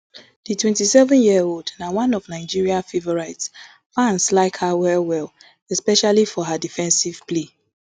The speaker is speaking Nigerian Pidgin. di twenty-seven year old na one of nigeria favourites fans like her well well especially for her defensive play